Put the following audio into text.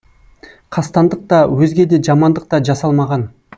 қастандық та өзге де жамандық та жасалмаған